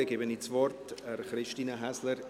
Dann gebe ich das Wort Christine Häsler.